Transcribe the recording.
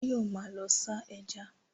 Báyọ̀ ma lọ sá eja